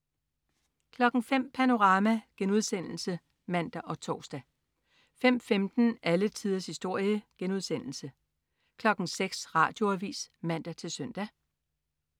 05.00 Panorama* (man og tors) 05.15 Alle tiders historie* 06.00 Radioavis (man-søn)